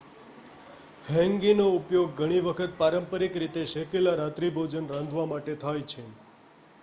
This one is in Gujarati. હેન્ગીનો ઉપયોગ ઘણી વખત પારંપરિક રીતે શેકેલ રાત્રિભોજન રાંધવા માટે થાય છે